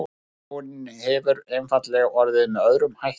þróunin hefur einfaldlega orðið með öðrum hætti